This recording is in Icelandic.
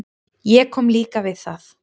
Ég kom líka við það.